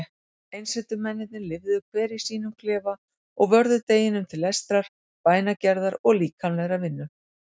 Einsetumennirnir lifðu hver í sínum klefa og vörðu deginum til lestrar, bænagerðar og líkamlegrar vinnu.